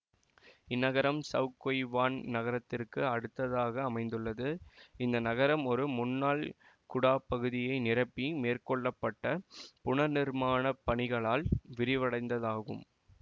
இந்நகரம் Shau Kei Wan நகரத்திற்கு அடுத்ததாக அமைந்துள்ளது இந்த நகரம் ஒரு முன்னாள் குடாப்பகுதியை நிரப்பி மேற்கொள்ள பட்ட புனர்நிர்மாணப் பணிகளால் விரிவடைந்ததாகும்